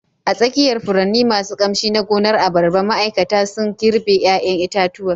A tsakiyar furanni masu ƙamshi na gonar abarba, ma'aikata sun girbe 'ƴaƴan itatuwa